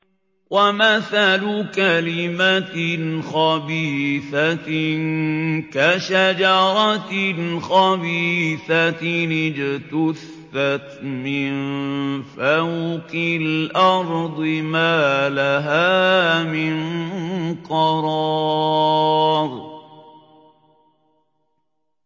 وَمَثَلُ كَلِمَةٍ خَبِيثَةٍ كَشَجَرَةٍ خَبِيثَةٍ اجْتُثَّتْ مِن فَوْقِ الْأَرْضِ مَا لَهَا مِن قَرَارٍ